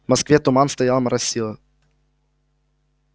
в москве туман стоял моросило